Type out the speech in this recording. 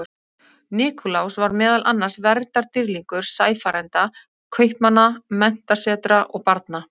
Nikulás var meðal annars verndardýrlingur sæfarenda, kaupmanna, menntasetra og barna.